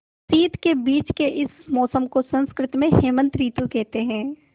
शीत के बीच के इस मौसम को संस्कृत में हेमंत ॠतु कहते हैं